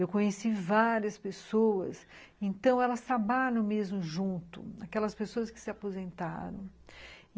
Eu conheci várias pessoas, então elas trabalham mesmo junto, aquelas pessoas que se aposentaram.